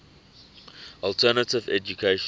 alternative education